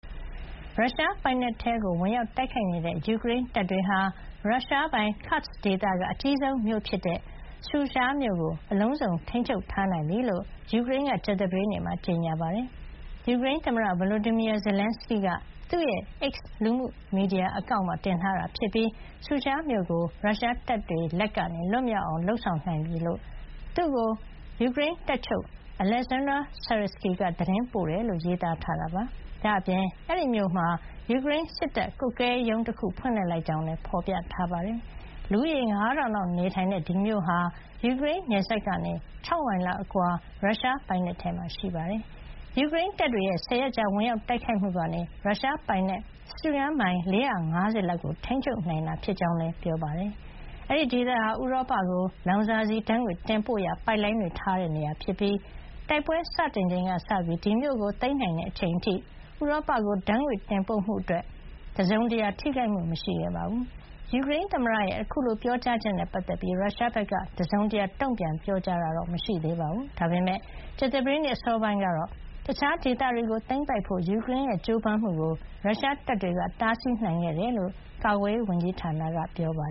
ရုရှားပိုင်နက်ထဲဝင်ရောက်တိုက်ခိုက်နေတဲ့ ယူကရိန်းတပ်တွေဟာ ရုရှားပိုင် Kursk ဒေသက အကြီးဆုံးမြို့ဖြစ်တဲ့ Sudzha မြို့ကို အလုံးစုံ ထိန်းချုပ်ထားနိုင်ပြီလို့ ယူကရိန်းက ကြာသပတေးနေ့မှာ ကြေညာပါတယ်။ ယူကရိန်းသမ္မတ Volodymyr Zelenskyy က သူ့ရဲ့ X လူမှုမီဒီယာ အကောင့်မှာ တင်ထားတာဖြစ်ပြီး Sudzha မြို့ကို ရုရှားတပ်တွေ လက်ကနေ လွတ်မြောက်အောင် လုပ်ဆောင်နိုင်ပြီဖြစ်ကြောင်း သူ့ကို ယူကရိန်း တပ်ချုပ် Oleksandr Syrskyi က သတင်းပို့တယ်လို့ ရေးသားထားတာပါ။ ဒါ့အပြင် အဲဒီမြို့မှာ ယူကရိန်း စစ်တပ်ကွပ်ကဲရေးရုံး ဖွင့်လှစ်လိုက်ကြောင်းလည်း ဖေါ်ပြထားပါတယ်။ လူဦးရေ ၅,၀၀၀ လောက်နေထိုင်တဲ့ Sudzha မြို့ ဟာ ယူကရိန်းနယ်စပ်ကနေ ၆ မိုင်လောက် အကွာ ရုရှားပိုင်နက်ထဲမှာ ရှိပါတယ်။ ယူကရိန်းတပ်တွေရဲ့ ၁၀ ရက်ကြာ ဝင်ရောက်တိုက်ခိုက်မှုကနေ ရုရှားပိုင်နက် စတုရန်းမိုင် ၄၅၀ လောက်ကိုထိန်းချုပ်နိုင်တာ ဖြစ်ကြောင်းလည်း ပြောပါတယ်။ အဲဒီ ဒေသဟာ ဥရောပကို လောင်စာဆီ ဓါတ်ငွေ့တင်ပို့ရာ ပိုက်လိုင်းတွေထားရှိတဲ့နေရာဖြစ်ပြီး တိုက်ပွဲစတင်ချိန်ကစပြီး ဒီမြို့ကို သိမ်းနိုင်တဲ့အချိန်အထိ ဥရောပကို ဓါတ်ငွေ့တင်ပို့မှုအတွက် တစုံတရာ ထိခိုက်မှုမရှိခဲ့ပါဘူး။ ယူကရိန်းသမ္မတရဲ့ အခုလို ပြောကြားချက်နဲ့ ပတ်သက်ပြီး ရုရှားဘက်က တစုံတရာ တုံ့ပြန်ပြောကြားတာ မရှိသေးပါဘူး။ ဒါပေမယ့် ကြာသပတေးနေ့ အစောပိုင်းကတော့ တခြားဒေသတွေကိုသိမ်းပိုက်ဖို့ ယူကရိန်းရဲ့ ကြိုးပမ်းမှုကို ရုရှားတပ်တွေက တားဆီးနိုင်ခဲ့တယ်လို့ ကာကွယ်ရေး ဝန်ကြီးဌာနက ပြောပါ